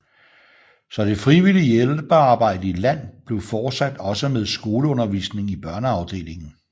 Så det frivillige hjælpearbejde i land blev fortsat også med skoleundervisning i børneafdelingen